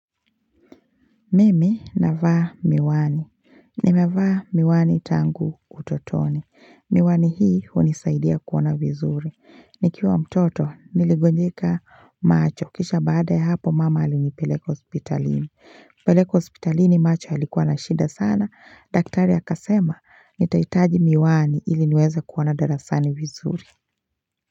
Mimi navaa miwani. Nimevaa miwani tangu utotoni. Miwani hii unisaidia kuona vizuri. Nikiwa mtoto niligonjika macho. Kisha baada ya hapo mama alinipeleko hospitalini. Peleko hospitalini macho alikuwa na shida sana. Daktari akasema nitaitaji miwani ili nweze kuona darasani vizuri.